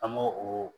An b'o o